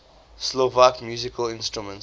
slovak musical instruments